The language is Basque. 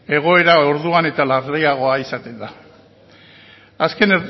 egoera orduan eta larriagoa izaten da azken